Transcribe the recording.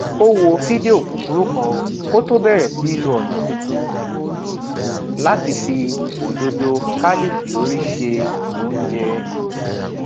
ó wo fídíò kúkurú kan kó tó bèrè sí lo ònà tuntun láti fi òdòdó kálífìórì se oúnjẹ